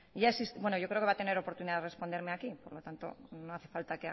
yo creo que va a tener oportunidad de responderme aquí por lo tanto no hace falta